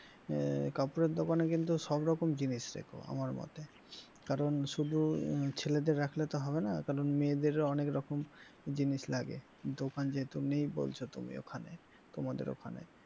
আহ কাপড়ের দোকানে কিন্তু সব রকম জিনিস রেখো আমার মতে কারণ শুধু ছেলেদের রাখলে তো হবে না কারণ মেয়েদের অনেক রকম জিনিস লাগে দোকান যেহেতু নেই বলছো তুমি ওখানে তোমাদের ওখানে,